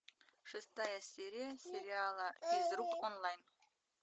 шестая серия сериала физрук онлайн